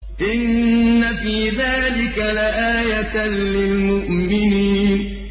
إِنَّ فِي ذَٰلِكَ لَآيَةً لِّلْمُؤْمِنِينَ إِنَّ فِي ذَٰلِكَ لَآيَةً لِّلْمُؤْمِنِينَ